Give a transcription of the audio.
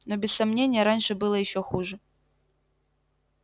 но без сомнения раньше было ещё хуже